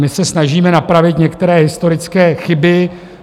My se snažíme napravit některé historické chyby.